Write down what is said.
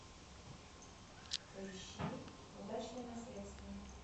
поищи удачное наследство